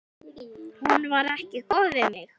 Hún var ekki góð við mig.